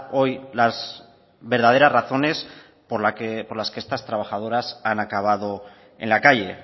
hoy las verdaderas razones por las que estas trabajadoras han acabado en la calle